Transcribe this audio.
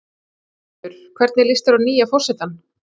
Þórhildur: Hvernig líst þér á nýja forsetann?